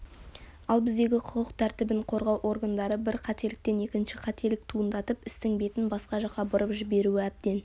ал біздегі құқық тәртібін қорғау органдары бір қателіктен екінші қателік туындатып істің бетін басқа жақа бұрып жіберуі әбден